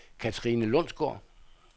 Katrine Lundsgaard